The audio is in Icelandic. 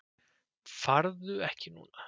Farðu ekki núna!